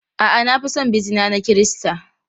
A'a, na fi son bizina na Kirista.